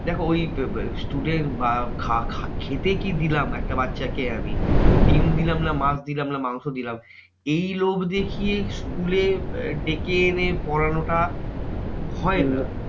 দেখো ওই student বা খেতে কি দিলাম? একটা বাচ্চাকে আমি। ডিম দিলাম, না মাছ দিলাম, না মাংস দিলাম এই লোভ দেখিয়ে school এ ডেকে এনে পড়ানো টা হয় না।